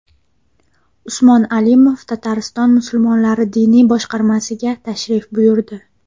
Usmonxon Alimov Tatariston musulmonlari diniy boshqarmasiga tashrif buyurdi .